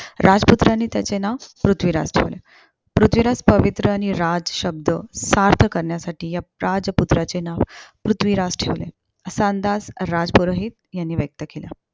राजपुत्रांनी त्यांचे नाव पृथ्वीराज ठेवले. पृथ्वीराज पवित्र आणि राज शब्द सार्थ करण्यासाठी या राजपुत्राचे नाव पृथ्वीराज ठेवले. असा अंदाज राजपुरोहित यांनी व्यक्त केला.